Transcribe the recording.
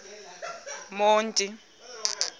monti